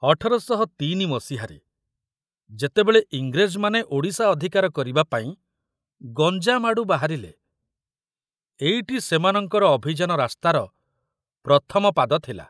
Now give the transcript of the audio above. ଅଠର ଶହ ତିନି ମସିହାରେ ଯେତେବେଳେ ଇଂରେଜମାନେ ଓଡ଼ିଶା ଅଧିକାର କରିବା ପାଇଁ ଗଞ୍ଜାମ ଆଡୁ ବାହାରିଲେ, ଏଇଟି ସେମାନଙ୍କର ଅଭିଯାନ ରାସ୍ତାର ପ୍ରଥମ ପାଦ ଥିଲା।